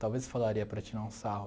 Talvez falaria para tirar um sarro.